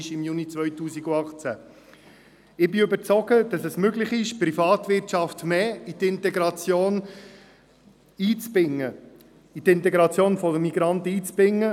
Ich bin überzeugt, dass es möglich ist, die Privatwirtschaft, mehr in die Integration einzubinden.